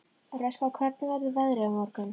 Röskva, hvernig verður veðrið á morgun?